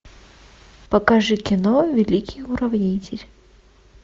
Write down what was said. покажи кино великий уравнитель